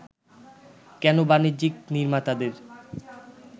কেন বাণিজ্যিক নির্মাতাদের